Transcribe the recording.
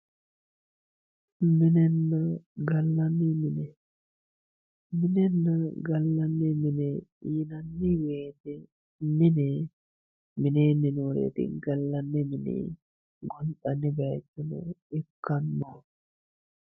minenna gallanni mine minenna gallanni mine yinanni wote mine mineenni nooreeti gallanni mine gonxanni bayiichono ikkanno.